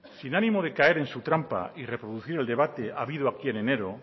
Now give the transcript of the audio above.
sin ánimo de caer en su trampa y reproducir el debate habido aquí en enero